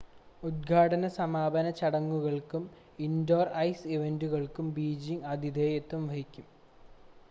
ഉദ്ഘാടന സമാപന ചടങ്ങുകൾക്കും ഇൻഡോർ ഐസ് ഇവൻ്റുകൾക്കും ബീജിംഗ് ആതിഥേയത്വം വഹിക്കും